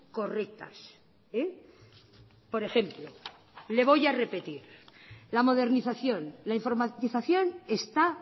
correctas por ejemplo le voy a repetir la modernización la informatización está